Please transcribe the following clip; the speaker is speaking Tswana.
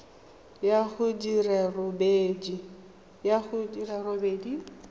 ya go di le robedi